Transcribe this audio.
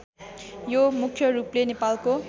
यो मुख्यरूपले नेपालको